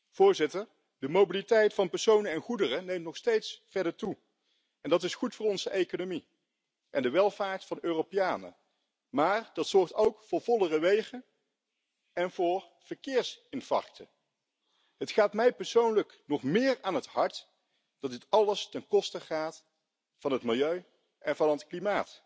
de carretera por reducir las emisiones de CO2, por una apuesta clara por los vehículos eléctricos, con baterías limpias y con el uso de energías renovables, donde se está empezando a hacer esfuerzos. Y, sin embargo —no nos engañemos—, pasa claramente por una apuesta por el transporte público, por reducir el uso del transporte por carretera